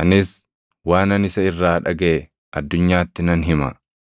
anis waanan isa irraa dhagaʼe addunyaatti nan hima.”